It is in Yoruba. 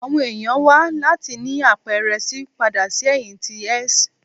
Awọn eniyan wa lati nini apẹrẹ C pada si ẹhin ti S